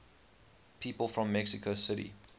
people from mexico city